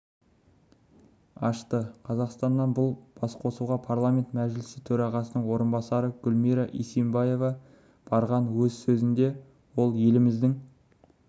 ашты қазақстаннан бұл басқосуға парламент мәжілісі төрағасының орынбасары гүлмира исимбаева барған өз сөзінде ол еліміздің